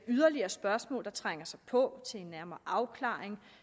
yderligere spørgsmål der trænger sig på til en nærmere afklaring